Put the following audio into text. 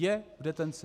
Je v detenci.